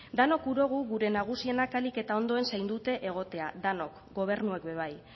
danok gura dogu gure nagusienak ahalik eta ondoen zaindute egotea denok gobernuak be bai